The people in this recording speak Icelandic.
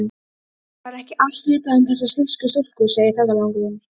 Var ekki allt vitað um þessar þýsku stúlkur, segir ferðalangur.